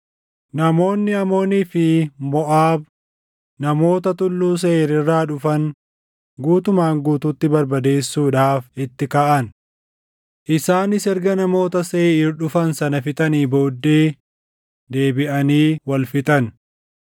Namoonni Amoonii fi Moʼaab namoota Tulluu Seeʼiir irraa dhufan guutumaan guutuutti barbadeessuudhaaf itti kaʼan. Isaanis erga namoota Seeʼiir dhufan sana fixanii booddee deebiʼanii wal fixan.